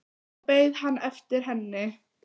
Nú beið hann eftir henni.